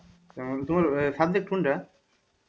কারণ তোমার subject কোনটা?